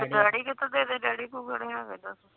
daddy ਕਿਥੋਂ ਦੇਦੇ daddy ਕੋਲ ਕਿਹੜੇ ਹੇਗਾ ਦਸ